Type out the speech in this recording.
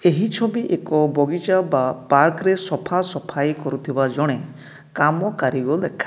ଏହି ଛବି ଏକ ବଗିଚା ବା ପାର୍କ ରେ ସଫା ସଫାଇ କରୁଥୁବା ଜଣେ କାମ କାରିଗର ଦେଖା --